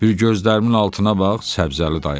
Bir gözlərimin altına bax Səbzəli dayı baxdı.